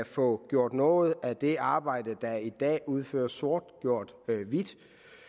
få gjort noget af det arbejde der i dag udføres sort hvidt